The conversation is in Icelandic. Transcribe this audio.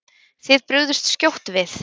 Þið brugðust skjótt við.